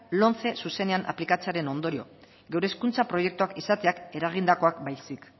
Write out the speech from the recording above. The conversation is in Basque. lomce zuzenean aplikatzearen ondorio gure hezkuntza proiektuak izateak eragindakoak baizik